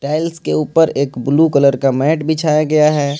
Tiles के ऊपर एक ब्लू कलर का मैट बिछाया गया है।